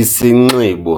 Isinxibo